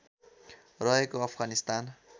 रहेको अफगानिस्तान